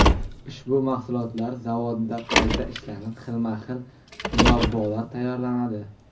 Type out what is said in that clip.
Ushbu mahsulotlar zavodda qayta ishlanib, xilma-xil murabbolar tayyorlanadi.